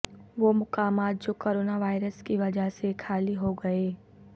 وہ مقامات جو کرونا وائرس کی وجہ سے خالی ہوگئے